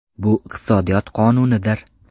Bu iqtisodiyot qonunidir.